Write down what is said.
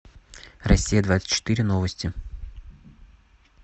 россия двадцать четыре новости